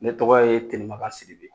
Ne tɔgɔ ye tɛmanka siribe